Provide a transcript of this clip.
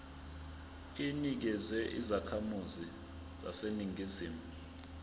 inikezwa izakhamizi zaseningizimu